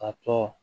A tɔ